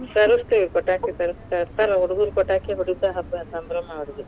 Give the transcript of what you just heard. ತರಿಸ್ತೀವಿ ಪಟಾಕಿ ತರ್~ ತರತಾರ ಹುಡುಗುರ ಪಟಾಕಿ ಹೋಡಿತಾ ಹಬ್ಬಾ ಸಂಭ್ರಮಾ ಅವರಿಗೆ.